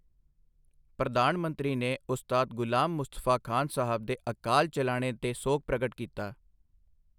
ਪ੍ਰਧਾਨ ਮੰਤਰੀ ਨੇ ਉਸਤਾਦ ਗ਼ੁਲਾਮ ਮੁਸਤਫਾ ਖਾਨ ਸਾਹਬ ਦੇ ਅਕਾਲ ਚਲਾਣੇ ਤੇ ਸੋਗ ਪ੍ਰਗਟ ਕੀਤਾ